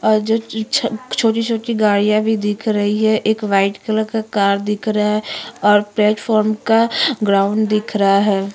और जो छ-छ छोटी छोटी गाड़ियाँ भी दिख रही हैं। एक वाइट कलर का कार दिख रहा है और प्लेटफार्म का ग्राउंड दिख रहा है।